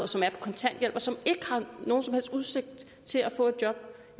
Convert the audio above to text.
som er på kontanthjælp og som ikke har nogen som helst udsigt til at få et job